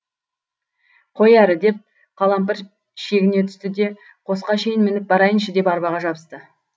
қой әрі деп қалампыр шегіне түсті де қосқа шейін мініп барайыншы деп арбаға жабысты